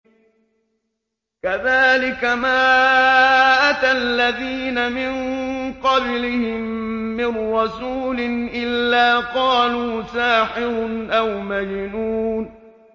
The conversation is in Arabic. كَذَٰلِكَ مَا أَتَى الَّذِينَ مِن قَبْلِهِم مِّن رَّسُولٍ إِلَّا قَالُوا سَاحِرٌ أَوْ مَجْنُونٌ